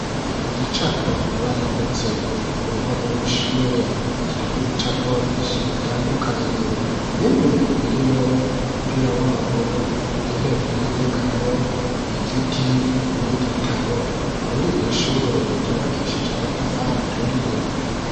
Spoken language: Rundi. Igicapo bamanitse ku ruhome rw'ishure kiriko ibicapo vyishi bitandukanye bimwe birimwo umupira w'amaguru intebe y'inyegamo igiti n'igitabo kuriri shure ryubakishije amatafari aturiye